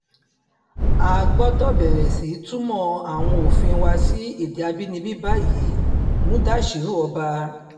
a gbọ́dọ̀ bẹ̀rẹ̀ sí í túmọ̀ àwọn òfin wa sí èdè àbínibí báyìí mudashiru ọba